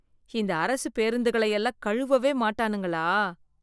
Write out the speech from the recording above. இந்த அரசு பேருந்துகளை எல்லாம் கழுவவே மாட்டானுங்களா?